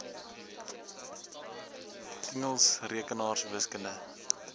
engels rekenaars wiskunde